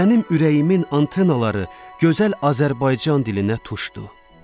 Mənim ürəyimin antenaları gözəl Azərbaycan dilinə tuşdu.